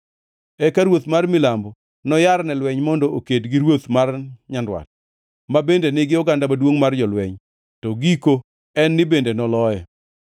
“Eka ruoth mar milambo noyar ne lweny mondo oked gi ruoth mar nyandwat ma bende nigi oganda maduongʼ mar jolweny, to giko en ni bende noloye.